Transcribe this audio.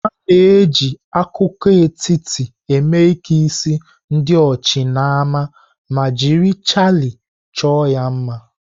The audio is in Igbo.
A na-eji akụkụ etiti eme ike isi ndi ochi nama ma jiri chaịlị chọọ ya mma.